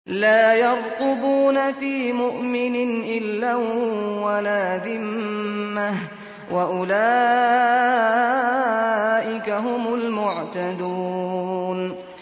لَا يَرْقُبُونَ فِي مُؤْمِنٍ إِلًّا وَلَا ذِمَّةً ۚ وَأُولَٰئِكَ هُمُ الْمُعْتَدُونَ